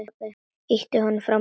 Ýti honum frá mér.